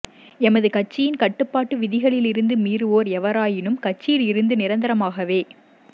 எமது கட்சியின் கட்டுப்பாட்டு விதிகளில் இருந்துமீறுவோர் எவராயினும் கட்சியில் இருந்து நிரந்தரமாகவே